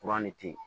ne te yen